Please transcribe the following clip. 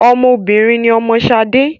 Ọmọ obìnrin ni ọmọ Ṣadé